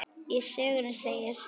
Í sögunni segir: